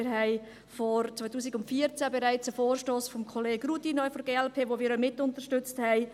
Wir hatten bereits 2014 einen Vorstoss von Kollege Rudin von der glp, den wir auch mitunterstützt haben.